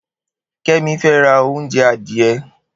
Kemi fè rà ounjẹ adiẹ